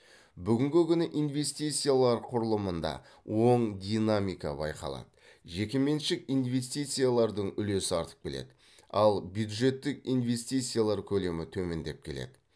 бүгінгі күні инвестициялар құрылымында оң динамика байқалады жекеменшік инвестициялардың үлесі артып келеді ал бюджеттік инвестициялар көлемі төмендеп келеді